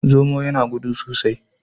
Zomo yana gudu sosai.